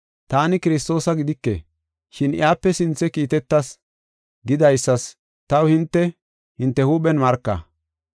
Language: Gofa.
‘Taani Kiristoosa gidike, shin iyape sinthe kiitetas’ gidaysas taw hinte, hinte huuphen marka.